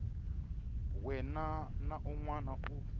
wana na un wana u